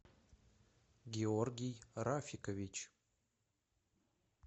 георгий рафикович